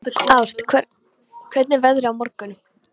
Ást, hvernig er veðrið á morgun?